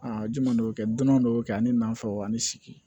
Aa jumɛn dɔw bɛ kɛ dɔn dɔw bɛ kɛ ani nafɛw ani sigi